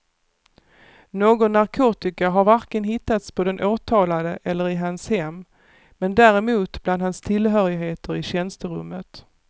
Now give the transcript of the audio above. Någon narkotika har varken hittats på den åtalade eller i hans hem, men däremot bland hans tillhörigheter i tjänsterummet.